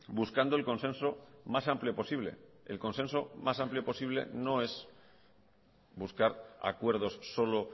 buscando el consenso más amplio posible el consenso más amplio posible no es buscar acuerdos solo